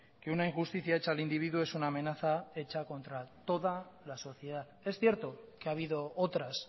que una injusticia hecha al individuo es una amenaza hecha contra toda la sociedad es cierto que ha habido otras